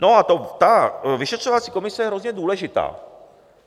No a ta vyšetřovací komise je hrozně důležitá.